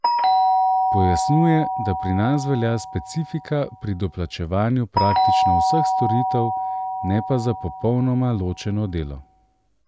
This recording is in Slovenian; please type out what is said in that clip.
Pojasnjuje, da pri nas velja specifika pri doplačevanju praktično vseh storitev ne pa za popolnoma ločeno delo.